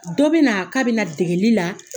Dɔ bɛ na k'a bɛ na degeli la